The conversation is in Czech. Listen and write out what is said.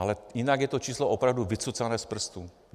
Ale jinak je to číslo opravdu vycucané z prstu.